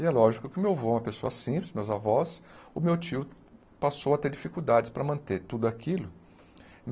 E é lógico que o meu avô, uma pessoa simples, meus avós, o meu tio passou a ter dificuldades para manter tudo aquilo.